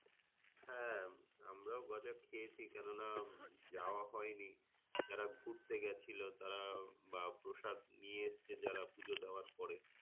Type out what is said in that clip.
হ্যাঁ আমরাও গজা খেয়েছি কেননা যাওয়া হয়নি। যার ঘুরতে গেছিল তার বা প্রসাদ নিয়ে এসছে যারা পূজো দেওয়ার পরে।